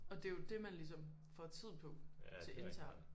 Og det jo dét man ligesom får tid på til intern